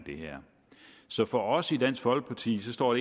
det her så for os i dansk folkeparti står